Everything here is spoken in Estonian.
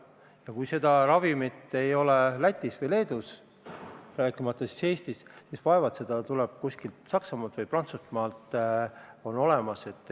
Ja kui seda ravimit ei ole ka Lätis või Leedus, siis vaevalt see kuskil Saksamaal või Prantsusmaal on olemas.